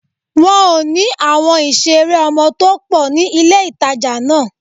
Wọn ò ní àwọn ìṣeré ọmọ tó pọ̀ ní ilé-ìtàjà náà